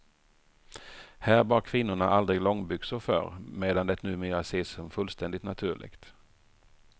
Här bar kvinnorna aldrig långbyxor förr, medan det numera ses som fullständigt naturligt.